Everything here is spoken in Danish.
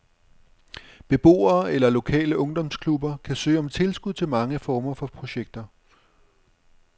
Beboere eller lokale ungdomsklubber kan søge om tilskud til mange former for projekter.